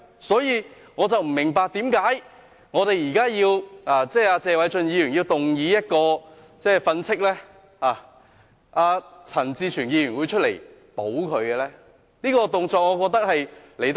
所以，我不明白為何謝偉俊議員動議譴責鄭松泰議員的議案，陳志全議員會出來"保"他呢？